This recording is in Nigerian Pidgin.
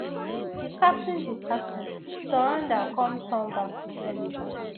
di captain di captain surrender come turn back to senegal